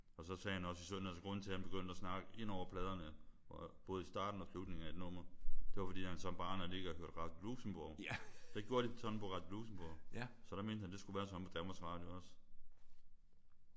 Og så sagde han også at sådan altså grunden til at han begyndte at snakke ind over pladerne både i starten og slutningen af et nummer det var fordi han som barn havde ligget og hørt Radio Luxembourg. Det gjorde de sådan på Radio Luxembourg. Så det mente han det skulle være sådan på Danmarks Radio også